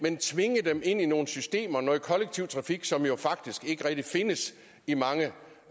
tvinge dem ind i nogle systemer noget kollektiv trafik som jo faktisk ikke rigtig findes i mange